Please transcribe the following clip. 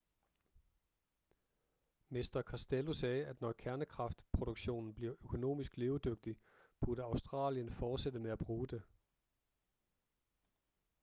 mr costello sagde at når kernekraftproduktion bliver økonomisk levedygtig burde australien fortsætte med at bruge det